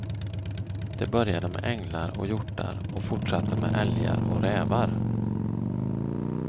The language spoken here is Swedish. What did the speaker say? Det började med änglar och hjortar och fortsatte med älgar och rävar.